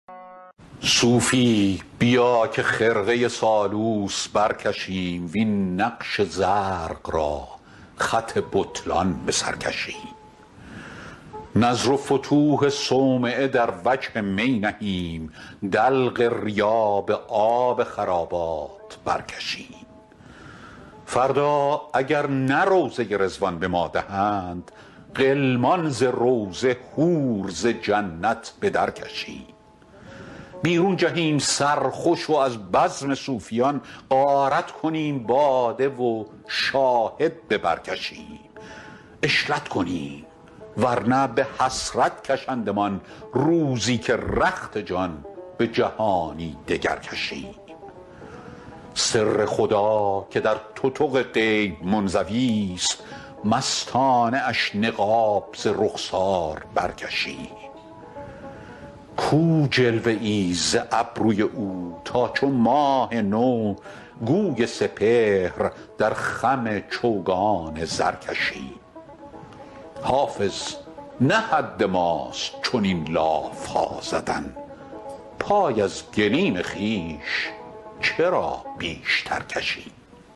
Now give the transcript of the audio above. صوفی بیا که خرقه سالوس برکشیم وین نقش زرق را خط بطلان به سر کشیم نذر و فتوح صومعه در وجه می نهیم دلق ریا به آب خرابات برکشیم فردا اگر نه روضه رضوان به ما دهند غلمان ز روضه حور ز جنت به درکشیم بیرون جهیم سرخوش و از بزم صوفیان غارت کنیم باده و شاهد به بر کشیم عشرت کنیم ور نه به حسرت کشندمان روزی که رخت جان به جهانی دگر کشیم سر خدا که در تتق غیب منزویست مستانه اش نقاب ز رخسار برکشیم کو جلوه ای ز ابروی او تا چو ماه نو گوی سپهر در خم چوگان زر کشیم حافظ نه حد ماست چنین لاف ها زدن پای از گلیم خویش چرا بیشتر کشیم